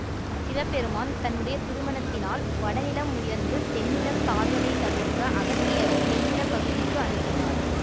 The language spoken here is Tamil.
சிவபெருமான் தன்னுடைய திருமணத்தினால் வடநிலம் உயர்ந்து தென்நிலம் தாழ்வதை தவிர்க்க அகத்தியரை தென்நிலப்பகுதிக்கு அனுப்பினார்